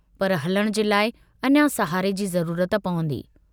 पर हलण जे लाइ अञां सहारे जी ज़रूरत पवंदी।